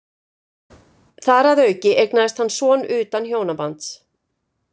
Þar að auki eignaðist hann son utan hjónabands.